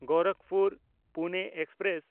ᱜᱳᱨᱟᱠᱷᱯᱩᱨ–ᱯᱩᱱᱮ express